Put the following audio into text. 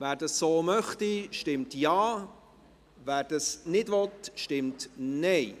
Wer das so möchte, stimmt Ja, wer dies nicht möchte, stimmt Nein.